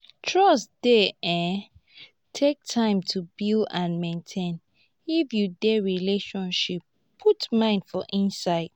trust dey um take time to build and maintain if you dey relationship put mind for inside